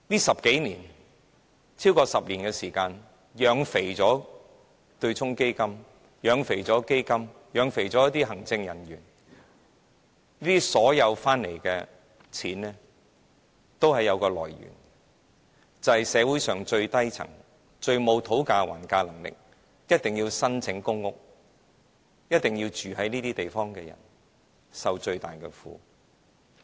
在這超過10年的時間，政府養肥了對沖基金、基金和行政人員，他們賺取的金錢全都有來源，就是來自社會上最低層、最沒有討價還價能力、一定要申請公屋和住在這些地方的人，他們受着最大的苦。